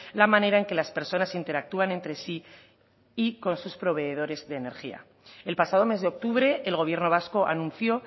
la manera en que las personas interactúan entre sí y con sus proveedores de energía el pasado mes de octubre el gobierno vasco anunció